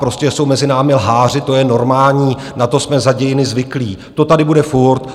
Prostě jsou mezi námi lháři, to je normální, na to jsme za dějiny zvyklí, to tady bude furt.